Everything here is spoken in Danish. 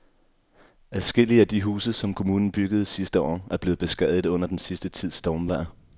Adskillige af de huse, som kommunen byggede sidste år, er blevet beskadiget under den sidste tids stormvejr.